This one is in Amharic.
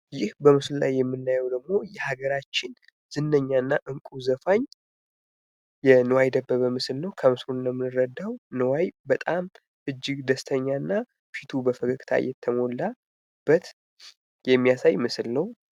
ይህ በምስሉ ላይ የምናየው ደግሞ በሀገራችን ዝነኛና እንቁ ዘፋኝ የንዋየ ደበበ ምስል ነው ከምስሉ እንደምንረዳው ንዋይ እጅግ በጣም ደስተኛና ፊቱ በፈገግታ የተሞላበት የሚያሳይ ምስል ነው።